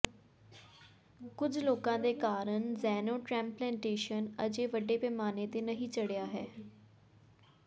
ਕੁਝ ਰੋਕਾਂ ਦੇ ਕਾਰਨ ਜ਼ੈਨੋਟਰੈਂਪਲੇਟੇਸ਼ਨ ਅਜੇ ਵੱਡੇ ਪੈਮਾਨੇ ਤੇ ਨਹੀਂ ਚੜ੍ਹਿਆ ਹੈ